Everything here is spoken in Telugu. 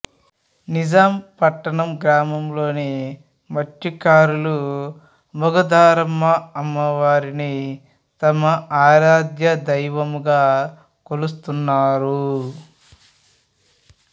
నిజాంపట్నం గ్రామంలో మత్స్యకారులు మొగదారమ్మ అమ్మవారిని తమ ఆరాధ్యదైవంగా కొలుస్తున్నారు